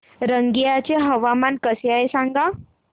रंगिया चे हवामान कसे आहे सांगा